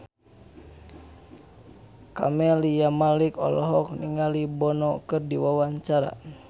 Camelia Malik olohok ningali Bono keur diwawancara